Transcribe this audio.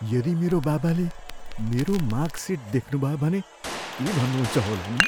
यदि मेरो बाबाले मेरो मार्कसिट देख्नुभयो भने के भन्नुहुन्छ होला नि।